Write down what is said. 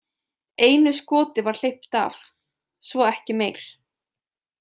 Einu skoti var hleypt af, svo ekki meir.